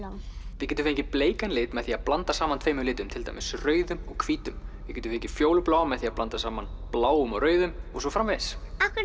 þið getið fengið bleikan lit með því að blanda saman tveimur litum til dæmis rauðum og hvítum þið getið fengið fjólubláan með því að blanda saman bláum og rauðum og svo framvegis af hverju